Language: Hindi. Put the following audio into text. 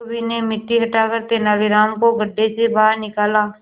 धोबी ने मिट्टी हटाकर तेनालीराम को गड्ढे से बाहर निकाला